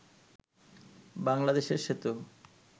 বাংলাদেশের সেতু